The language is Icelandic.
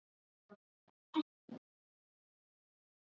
Heimir tjáði sig um Alba og nokkra aðra leikmenn á fundinum í dag.